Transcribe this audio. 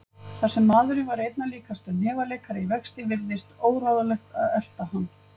Þar sem maðurinn var einna líkastur hnefaleikara í vexti virtist óráðlegt að erta hann.